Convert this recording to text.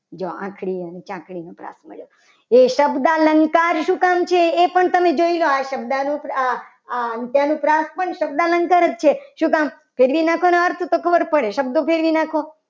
જો આખરી અને ચાકડી સંભળાતું હશે. એ શબ્દ અલંકાર શું કામ છે. એ પણ તમે જોઈલો. આ શબ્દ અનુપ્રાસ અંત્ય અનુપ્રાસ પણ શબ્દ અલંકાર જ છે. શું નામ કે ફેરવી નાખો તો એના અર્થ ખબર પડે શબ્દો ફેરવી નાખો.